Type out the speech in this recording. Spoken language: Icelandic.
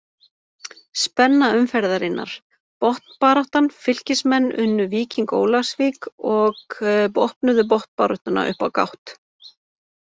Spenna umferðarinnar: Botnbaráttan Fylkismenn unnu Víking Ólafsvík og opnuðu botnbaráttuna upp á gátt.